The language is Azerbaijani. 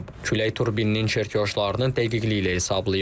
Külək turbininin çerkojlarını dəqiqliyi ilə hesablayıb.